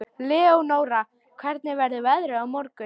Leónóra, hvernig verður veðrið á morgun?